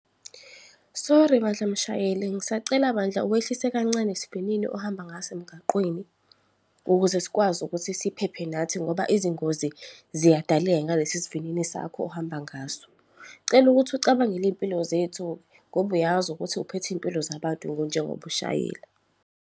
Sorry bandla, mshayeli. Ngisacela bandla uwehlise kancane sivinini ohamba ngaso emgwaqeni ukuze sikwazi ukuthi siphephe nathi ngoba izingozi ziyadaleka ngalesi sivinini sakho ohamba ngaso. Ngicela ukuthi ucabangele impilo zethu, ngoba uyazi ukuthi uphethe iy'mpilo zabantu njengoba ushayela.